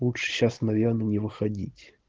лучше сейчас наверное не выходить